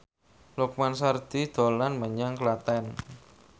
Lukman Sardi dolan menyang Klaten